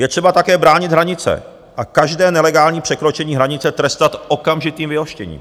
Je třeba také bránit hranice a každé nelegální překročení hranice trestat okamžitým vyhoštěním.